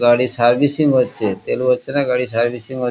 গাড়ি সার্ভিসিং হচ্ছে তেল ভরছে না গাড়ি সার্ভিসিং হ--